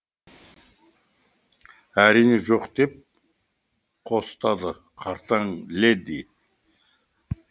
әрине жоқ деп қостады қартаң леди